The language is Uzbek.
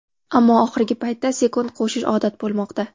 Ammo oxirgi paytda sekund qo‘shish odat bo‘lmoqda.